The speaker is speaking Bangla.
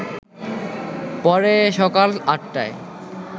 পরে সকাল ৮টায়